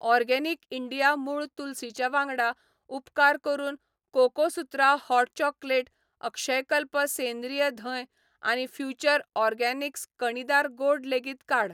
Organic India मूळ तुलसी च्या वांगडा, उपकार करून कोकोसुत्रा हॉट चॉकोलेट, अक्षयकल्प सेंद्रीय धंय आनी फ्युचर ऑरगॅनिक्स कणीदार गोड लेगीत काड.